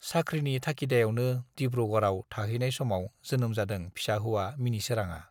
साख्रिनि थागिदायावनो डिब्रुगड़आव थाहैनाय समाव जोनोम जादों फिसा-हौवा मिनिसोराङा।